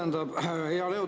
Aitäh!